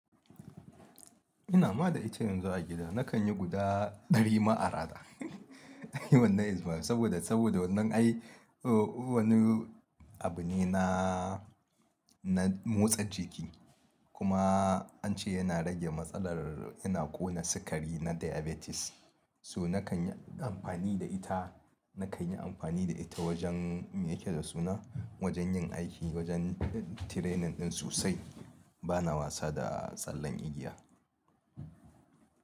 Ina ma da ita yanzu a gida nakan yi guda ɗari ma arana. Saboda, saboda wannan ai, wani abu ne na, na motsa jiki kuma an ce yana rage matsalar yana ƙona sikari na diabetes. So na kan yi amfani da ita, na kan yi amfani da ita wajen me yake da suna, wajen yin aiki wajen training ɗin sosai bana wasa da tsallen igiya.